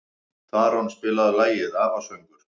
Tarón, spilaðu lagið „Afasöngur“.